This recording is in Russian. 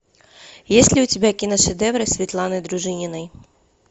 есть ли у тебя киношедевры светланы дружининой